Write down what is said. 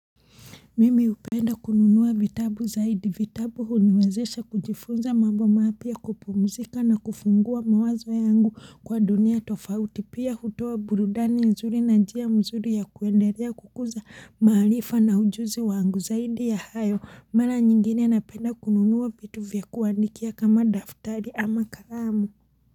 Mimi upenda kununuwa vitabu zaidi vitabu huniwezesha kujifunza mambo mapia kupumzika na kufungua mawazo yangu kwa dunia tofauti pia hutowa burudani nzuri na njia mzuri ya kuendelea kukuza maarifa na ujuzi wangu zaidi ya hayo mara nyingine napenda kununuwa vitu vya kuandikia kama daftari ama kalamu.